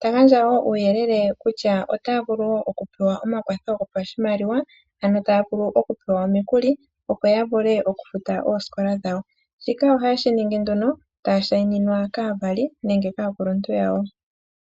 ta gandja wo omauyelele kutya otaya vulu wo oku pewa omakwatho gopashimaliwa, ano taya vulu oku pewa omikuli, opo ya vule oku futa oosikola dhawo. Shika ohaye shi ningi nduno taya shayininwa kaavali nenga kaakuluntu yawo.